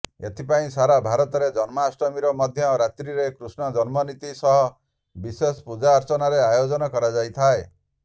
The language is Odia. ଏଥିପାଇଁ ସାରା ଭାରତରେ ଜନ୍ମାଷ୍ଟମୀର ମଧ୍ୟ ରାତ୍ରୀରେ କୃଷ୍ଣ ଜନ୍ମନୀତି ସହ ବିଶେଷ ପୂଜାର୍ଚ୍ଚନାର ଆୟୋଜନ କରାଯାଇଥାଏ